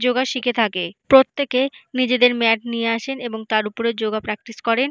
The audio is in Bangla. যোগা শিখে থাকে প্রত্যেকে নিজেদের ম্যাট নিয়ে আসেন এবং তার উপরে যোগা প্র্যাকটিস করেন।